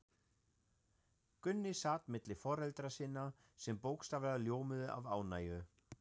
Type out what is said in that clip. Gunni sat milli foreldra sinna, sem bókstaflega ljómuðu af ánægju.